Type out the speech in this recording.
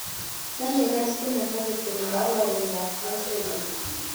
Nomekei spinach ak keturek ak koritab nitrogen.